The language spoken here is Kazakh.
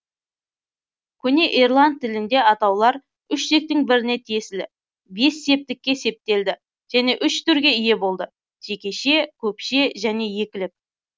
көне ирланд тілінде атаулар үш тектің біріне тиесілі бес септікке септелді және үш түрге ие болды жекеше көпше және екілік